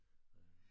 Øh